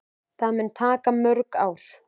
Það mun taka mörg ár.